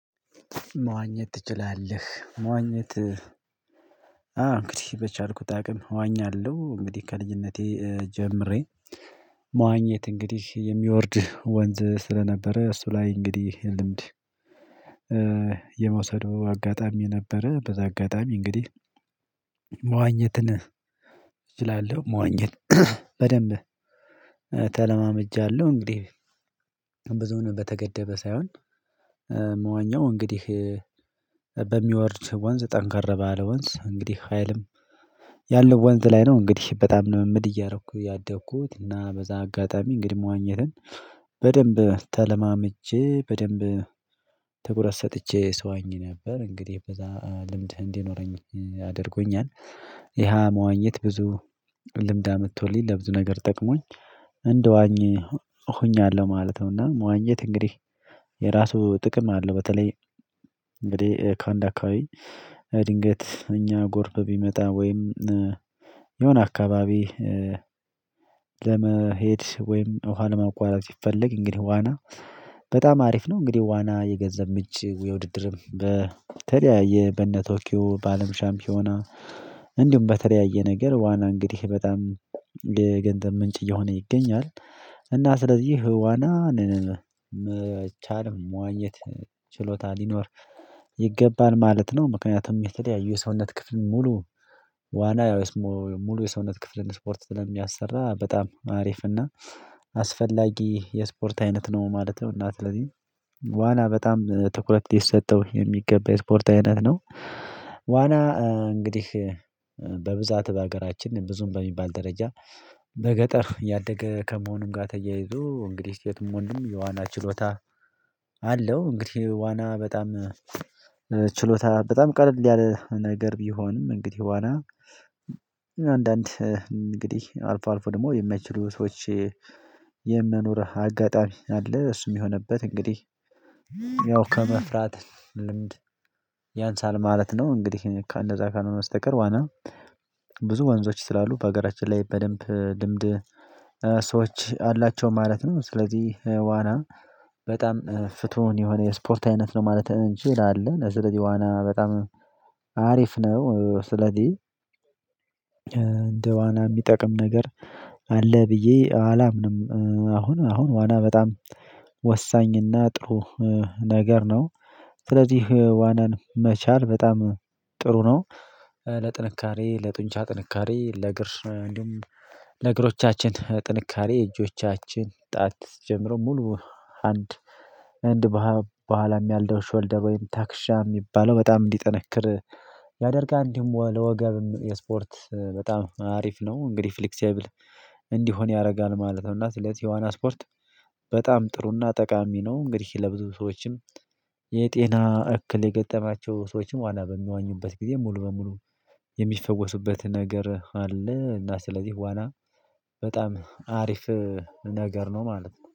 መዋኘት ትችላለህ? መዋኘት አዎ እንግዲህ በቻልኩት አቅም እዋኛለሁ እንግዲህ ከልጅነቴ ጀምሬ መዋኘት እንግዲህ የሚወርድ ወንዝ ስለነበረ እሱ ላይ እንግዲህ ልምድ የመውሰዱ አጋጣሚ ነበረ። በዛ አጋጣሚ እንግዲህ መዋኘትን እችላለሁ መዋኘት በደንብ ተለማምጃለሁ። እንግዲህ ብዙን በተገደበ ሳይሆን የምዋኛው እንግዲህ በሚወርድ ወንዝ ጠንከር ባለ ወንዝ እንግዲህ ሀይልም ያለው ወንዝ ላይ ነው። እንግዲህ በጣም ነው ልምምድ እያረኩ ያደኩት እና በዛ አጋጣሚ እንግዲህ መዋኘትን በደንብ ተለማመጄ በደንብ ትኩረት ሰጥቼ ስዋኝ ነበር። እንግዲህ በዛ ልምድ እንዲኖረኝ አድርጎኛል። ይሄ መዋኘት ብዙ ልምድ አመጥቶልኝ ለብዙ ነገር ጠቅሞኝ እንደዋኝ ሆኛለሁ ማለት ነው። እና መዋኘት እንግዲህ የራሱ ጥቅም አለው። በተለይ እንግዲህ ከአንድ አካባቢ ድንገት እኛ ጎርፍ ቢመጣ ወይም የሆነ አካባቢ ለመሄድ ወይም ኋላ ለማቋረጥ ሲፈለግ እንግዲህ ዋና በጣም አሪፍ ነው። እንግዲህ ዋና የገንዘብ ምጭ የውድድርም በተለያየ በነ ቶኪዮ በአለም ሻምፒዮና እንዲሁም በተለያየ ነገር ዋና እንግዲህ በጣም የገንዘብ ምንጭ እየሆነ ይገኛል። እና ስለዚህ ዋናን መቻል መዋኘት ችሎታ ሊኖር ይገባል ማለት ነው። ምክንያቱም የተለያዩ የሰውነት ክፍል ሙሉ ዋና ያው የሰውነት ክፍልን ስፖርት ስለሚያሰራ በጣም አሪፍ እና አስፈላጊ የስፖርት አይነት ነው ማለት ነው። እና ስለዚህ ዋና በጣም ትኩረት ሊሰጠው የሚገባ የስፖርት አይነት ነው። ዋና እንግዲህ በብዛት በሀገራችን ብዙም በሚባል ደረጃ በገጠር ያደገ ከመሆኑም ጋር ተያይዞ እንግዲህ ሴቱም ወንዱም የዋና ችሎታ አለው። እንግዲህ ዋና በጣም ችሎታ በጣም ቀለል ያለ ነገር ቢሆንም እንግዲህ ዋና አንዳንድ እንግዲህ አልፎ አልፎ ደግሞ የማይችሉ ሰዎች የመኖር አጋጣሚ አለ። እሱም የሆነበት እንግዲህ ያው ከመፍራት ልምድ ያንሳል ማለት ነው። እንግዲህ እንደዛ ካልሆነ ስተቀር ዋና ብዙ ወንዞች ስላሉ በሀገራችን ላይ በደንብ ልምድ ሰዎች አላቸው ማለት ነው። ስለዚህ ዋና በጣም ፍቱን የሆነ የስፖርት አይነት ነው ማለት እንችላለን። ለዚህ ስለዚህ ዋና በጣም አሪፍ ነው። ስለዚህ እንደ ዋና የሚጠቅም ነገር አለ ብዬ አላምንም። አሁን አሁን ዋና በጣም ወሳኝና ጥሩ ነገር ነው። ስለዚህ ዋናን መቻል በጣም ጥሩ ነው። ለጥንካሬ ለጡንቻ ጥንካሬ ለእግር እንደውም ለእግሮቻችን ጥንካሬ እጆቻችን ጣት ጀምሮ ሙሉ አንድ በኋላም ያለው ሾልደር ወይም ታክሻ የሚባለው በጣም እንዲጠነክር ያደርጋል። እንዲሁም ለወገብም የስፖርት በጣም አሪፍ ነው እንግዲህ ፍሌክሲብል እንዲሆን ያደርጋል ማለት ነው። እና ስለዚህ የዋና ስፖርት በጣም ጥሩና ጠቃሚ ነው። እንግዲህ ለብዙ ሰዎችም የጤና እክል የገጠማቸው ሰዎችም ዋና በሚወኙበት ጊዜ ሙሉ በሙሉ የሚፈወሱበት ነገር አለ። እና ስለዚህ ዋና በጣም አሪፍ ነገር ነው ማለት ነው።